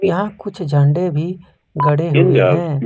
यहां कुछ झंडे भी गड़े हुए हैं।